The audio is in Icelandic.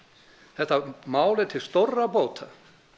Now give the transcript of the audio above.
þetta mál er til stórra bóta